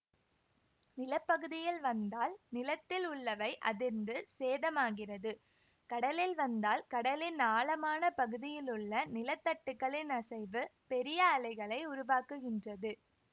நில பகுதியில் வந்தால் நிலத்தில் உள்ளவை அதிர்ந்து சேதமாகிறது கடலில் வந்தால் கடலின் ஆழமான பகுதியிலுள்ள நிலத்தட்டுக்களின் அசைவு பெரிய அலைகளை உருவாக்குகின்றது